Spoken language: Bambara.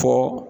Fɔ